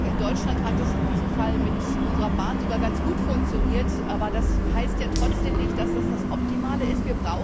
In Deutschland hat es in diesem Fall mit unserer Bahn sogar ganz gut funktioniert, aber das heißt ja trotzdem nicht, dass das das Optimale ist.